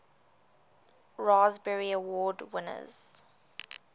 raspberry award winners